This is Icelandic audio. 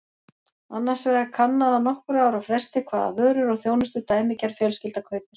Annars vegar er kannað á nokkurra ára fresti hvaða vörur og þjónustu dæmigerð fjölskylda kaupir.